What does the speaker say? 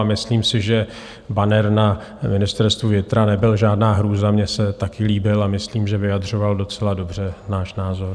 A myslím si, že banner na Ministerstvu vnitra nebyl žádná hrůza, mně se taky líbil a myslím, že vyjadřoval docela dobře náš názor.